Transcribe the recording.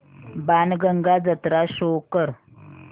बाणगंगा जत्रा शो कर